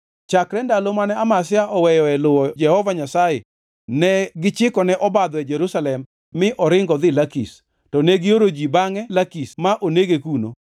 Chakre ndalo mane Amazia oweyo luwo Jehova Nyasaye, negichikone obadho e Jerusalem mi oringo odhi Lakish, to negioro ji bangʼe Lakish ma onege kuno.